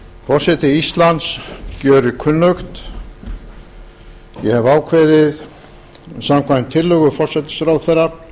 forseti íslands gjörir kunnugt ég hefi ákveðið samkvæmt tillögu forsætisráðherra að